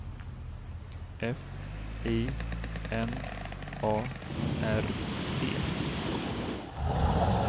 F I N A R E